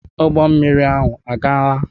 Ụgbọ mmiri ahụ agaala?